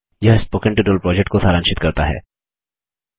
यह spoken tutorial को सारांशित करता है